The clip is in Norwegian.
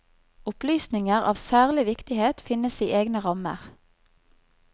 Opplysninger av særlig viktighet finnes i egne rammer.